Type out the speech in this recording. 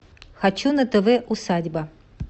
хочу на тв усадьба